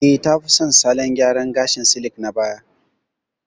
Eh, ta fi son salon gyaran gashin silik na baya.